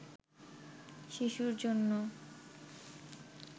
শিশুর জন্য